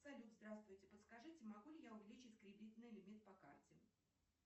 салют здравствуйте подскажите могу ли я увеличить кредитный лимит по карте